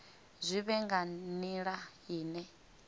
zwi vhe nga nila ine